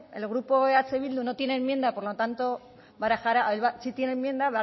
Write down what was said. el grupo eh bildu no tiene enmienda sí tiene enmienda